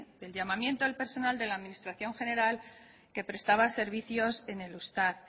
del llamamiento al personal de la administración general que prestaba servicios en el eustat